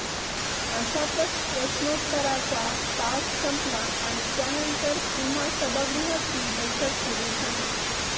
अशातच प्रश्नोत्तराचा तास संपला आणि त्यानंतर पुन्हा सभागृहाची बैठक सुरु झाली